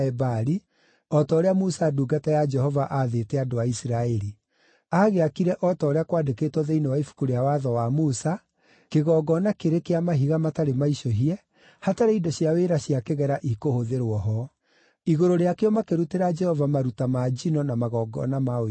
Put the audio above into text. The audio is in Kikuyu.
o ta ũrĩa Musa ndungata ya Jehova aathĩte andũ a Isiraeli. Aagĩakire o ta ũrĩa kwandĩkĩtwo thĩinĩ wa Ibuku rĩa Watho wa Musa, kĩgongona kĩrĩ kĩa mahiga matarĩ maicũhie, hatarĩ indo cia wĩra cia kĩgera ikũhũthĩrwo ho. Igũrũ rĩakĩo makĩrutĩra Jehova maruta ma njino na magongona ma ũiguano.